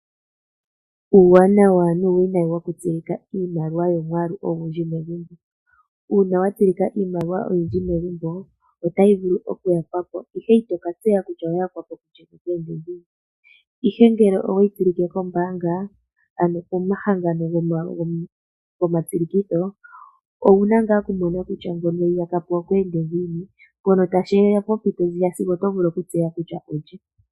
Uuwinayi nuuwanawa wokutsilika iimaliwa yomwaalu ogundji megumbo. Uuna watsilika iimaliwa oyindji megumbo otayi vulu okuyakwapo ihe itokatseya kutya oya yakwapo kulye, ihe ngele oweyi tsilike kombaanga ano komahangano goma tsilikitho owuna ngaa okumona kutya ngono eyi yakapo okwe ende ngiini shono tashiya pompito ndjono sigo tovulu okutseya kutya olye.